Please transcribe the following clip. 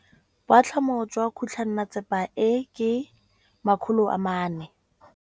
Boatlhamô jwa khutlonnetsepa e, ke 400.